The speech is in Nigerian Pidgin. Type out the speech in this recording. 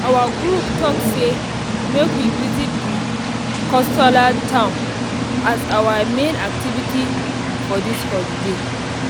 our group talk say make we visit the coastal town as our main activity for this holiday